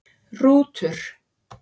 Rútur